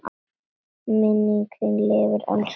Minning þín lifir, elsku amma.